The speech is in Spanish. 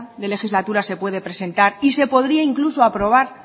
de legislatura se puede presentar y se podría incluso aprobar